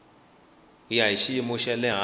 ya xiyimo xa le hansi